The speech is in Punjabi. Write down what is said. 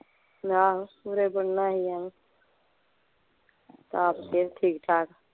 ਲੈ ਆਹੋ ਬੁਰਾ ਬਣਨਾ ਅਸੀਂ ਐਵੇਂ ਆਪਦੇ ਠੀਕ ਠਾਕ